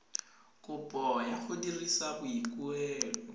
kopo ya go dira boikuelo